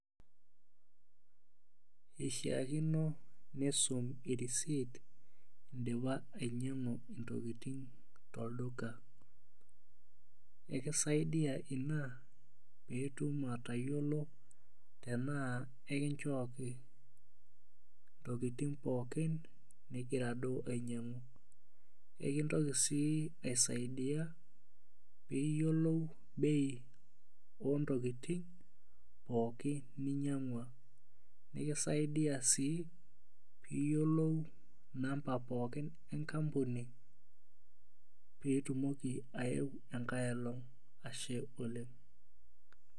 Pishiakino nisum irisit indipa ainyangu ntokitin tolduka ekisaidia ina pitum atayiolo tanaa ekinchooki ntokitin pookin nigira duo ainyangu, ekintoki sii aisaidia piyiolou bei ontokitin pookin ninyangua nikisaidia si piyiolou namba pookin enkampuni pitumoki aeu enkae olong ashe oleng.